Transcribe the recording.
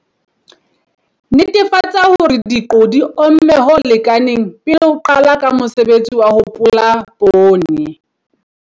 Netefatsa hore diqo di omme ho lekaneng pele o qala ka mosebetsi wa ho pola poone.